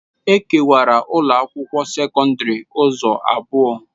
E kewara ụlọ akwụkwọ sekọndrị ụzọ abụọ.